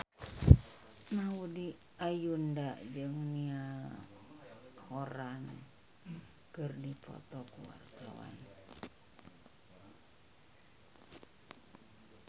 Maudy Ayunda jeung Niall Horran keur dipoto ku wartawan